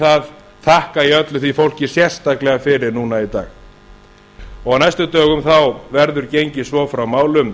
það þakka ég öllu því fólki sérstaklega fyrir núna í dag á næstu dögum verður gengið svo frá málum